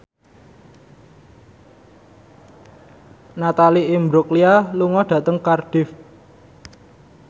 Natalie Imbruglia lunga dhateng Cardiff